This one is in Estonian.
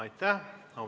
Aitäh!